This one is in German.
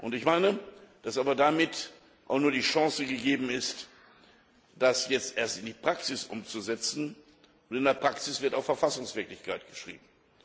Ich meine, dass aber damit auch noch die Chance gegeben ist, das jetzt erst in die Praxis umzusetzen. Und in der Praxis wird auch Verfassungswirklichkeit geschrieben.